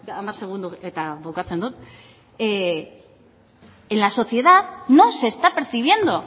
hamar segundo eta bukatzen dut en la sociedad no se está percibiendo